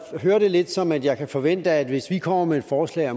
hører det lidt som at jeg kan forvente at hvis vi kommer med et forslag